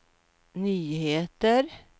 nyheter